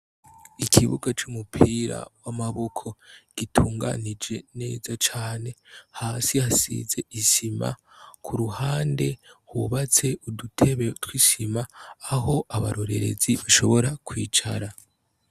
Ikibuga cy'umupira w'amaboko gitunganije neza cyane hasi hasize isima ku ruhande hubatse udutebe tw'ishima aho abarorerezi bashobora kwicara.